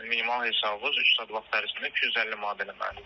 Yəni minimal hesabımız üç saat vaxt limitində 250 manat eləməlidir.